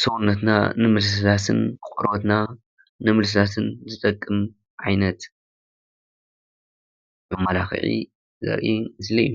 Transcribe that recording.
ሰውነትና ንምልስላሰን ቆርበትና ንምልስላሰን ዝጠቅም ዓይነት መመላክዒ ዘርኢ ምስሊ እዩ።